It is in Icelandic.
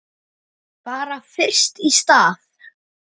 Bara fyrst í stað.